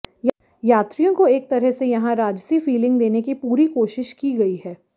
यात्रियों को एक तरह से यहां राजसी फीलिंग देने की पूरी कोशिश की गई है